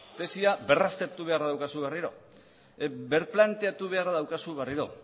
tesia berraztertu beharra daukazu berriro berplanteatu beharra daukazu berriro